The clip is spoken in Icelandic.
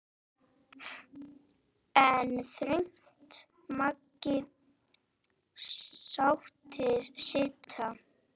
En þröngt mega sáttir sitja.